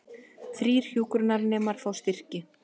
Þrír hjúkrunarnemar fá styrki